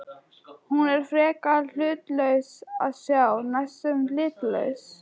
Hún er frekar hlutlaus að sjá, næstum litlaus.